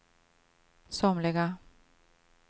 somliga